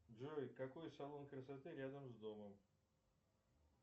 джой какой салон красоты рядом с домом